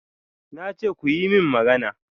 Na ce kuyi min magana!